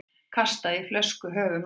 Kastaði flösku í höfuð manns